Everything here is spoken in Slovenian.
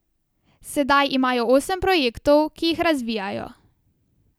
Sedaj imajo osem projektov, ki jih razvijajo.